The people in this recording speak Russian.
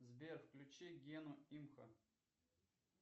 сбер включи гену имхо